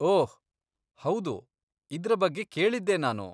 ಓಹ್, ಹೌದು, ಇದ್ರ ಬಗ್ಗೆ ಕೇಳಿದ್ದೆ ನಾನು.